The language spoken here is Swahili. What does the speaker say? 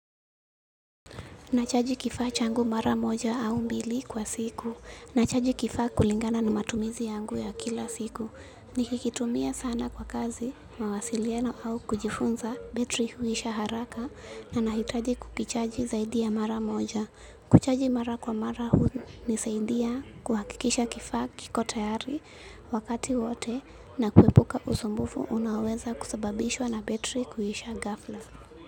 Nachaji kifaa changu mara moja au mbili kwa siku. Nachaji kifaa kulingana na matumizi yangu ya kila siku. Nikikitumia sana kwa kazi, mawasiliano au kujifunza, betri huisha haraka na nahitaji kukichaji zaidi ya mara moja. Kuchaji mara kwa mara hunisaidia kuhakikisha kifaa kiko tayari wakati wote na kuepuka usumbufu unaoweza kusababishwa na betri kuisha ghafla.